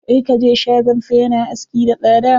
Kar ka je shagonsa. Ya na aski da tsada.